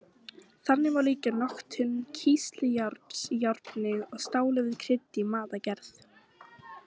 Þannig má líkja notkun kísiljárns í járni og stáli við krydd í matargerð.